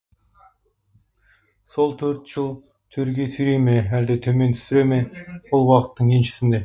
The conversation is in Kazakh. сол төрт жыл төрге сүйрей ме әлде төмен түсіре ме ол уақыттың еншісінде